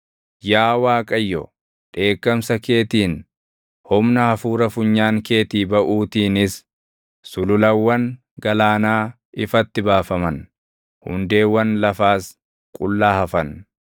Yaa Waaqayyo, dheekkamsa keetiin, humna hafuura funyaan keetii baʼuutiinis, sululawwan galaanaa ifatti baafaman; hundeewwan lafaas qullaa hafan.